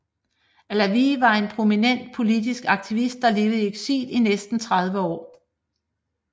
Allawi var en prominent politisk aktivist der levede i eksil i næsten 30 år